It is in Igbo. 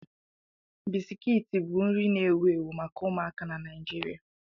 Biscuits bụ nri na-ewu ewu maka ụmụaka na Nigeria.